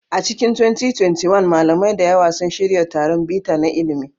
A cikin 2021, malamai da yawa sun shirya taron bita na ilimi.